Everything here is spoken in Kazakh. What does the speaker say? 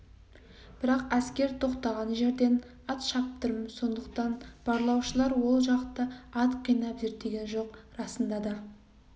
бірақ әскер тоқтаған жерден ат шаптырым сондықтан барлаушылар ол жақты ат қинап зерттеген жоқ расында да